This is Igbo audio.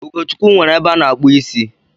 Ugochukwu nwere ebe ana-akpu isi